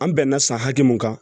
An bɛnna san hakɛ mun kan